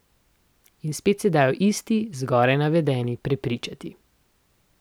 In spet se dajo isti, zgoraj navedeni, prepričati.